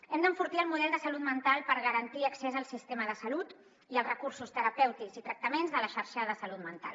hem d’enfortir el model de salut mental per garantir accés al sistema de salut i als recursos terapèutics i tractaments de la xarxa de salut mental